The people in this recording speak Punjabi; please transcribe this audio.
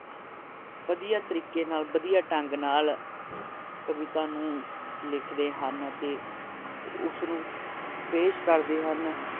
ਵਧੀਆ ਤਰੀਕੇ ਨਾਲ ਵਧੀਆ ਢੰਗ ਨਾਲ ਕਵਿਤਾ ਨੂੰ ਲਿਖਦੇ ਹਨ ਅਤੇ ਉਸਨੂੰ ਪੇਸ਼ ਕਰਦੇ ਹਨ